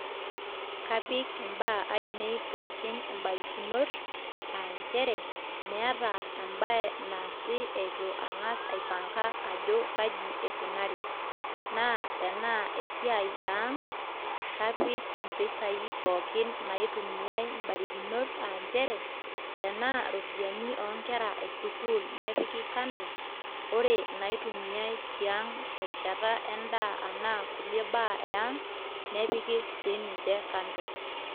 Kapik imbaa ainei pookin imbaririkinot aa nchere meeta embae naasi itu angasa aipanga ajo kai eikunari naatenaa eisaai eang naa kapik impisai pookin naitumiaai imbarikinok aa nchere tanaa iropiyiani oonkera esukul nepiki kando ore naitumiaai tiaang terishata endaa anaa kulie baa eang nepiki si ninche kando.